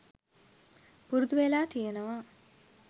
පුරුදුවෙලා තියෙනවා.